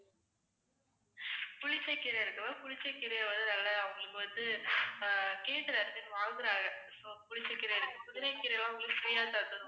புளிச்சக்கீரை இருக்கு ma'am புளிச்சக்கீரையை வந்து நல்லா அவங்களுக்கு வந்து கேக்குற இடத்துக்கு வாங்குறாங்க so புளிச்சக்கீரை இருக்கு. புதினாக்கீரை எல்லாம் உங்களுக்கு free ஆ தந்துடுறோம்.